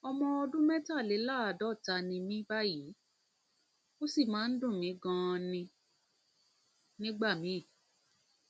ọmọ ọdún mẹtàléláàádọta ni mí báyìí ó sì máa ń dùn mí ganan nígbà míì